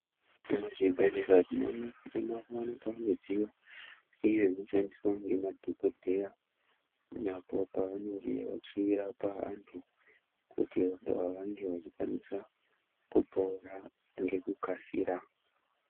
Muzvibhedhleya tinoona kuti makuvanikwa midziyo iyo inoshandiswa ngemadhogodheya apo pavanenge vachirapa vantu. Kuti vantu ava vange vachikwanisa kupora ngekukasira.